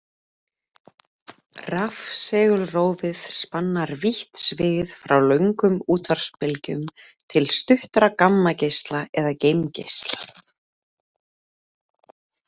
Rafsegulrófið spannar vítt svið frá löngum útvarpsbylgjum til stuttra gamma-geisla eða geimgeisla.